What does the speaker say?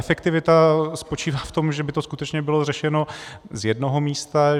Efektivita spočívá v tom, že by to skutečně bylo řešeno z jednoho místa.